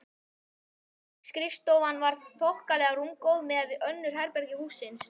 Skrifstofan var þokkalega rúmgóð miðað við önnur herbergi hússins.